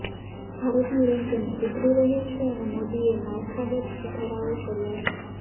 ભારતનું રૅન્કિંગ સુધરી રહ્યું છે અને મોદીએ માળખાગત સુધારાઓ કર્યા છે